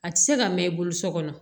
A tɛ se ka mɛn i bolo so kɔnɔ